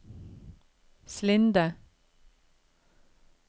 Slinde